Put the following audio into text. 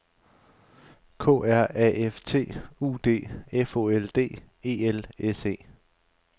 K R A F T U D F O L D E L S E